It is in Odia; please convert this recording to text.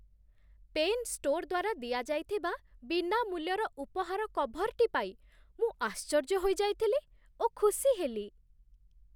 ପେନ୍ ଷ୍ଟୋର୍ ଦ୍ୱାରା ଦିଆଯାଇଥିବା ବିନାମୂଲ୍ୟର ଉପହାର କଭର୍‌ଟି ପାଇ ମୁଁ ଆଶ୍ଚର୍ଯ୍ୟ ହୋଇଯାଇଥିଲି ଓ ଖୁସି ହେଲି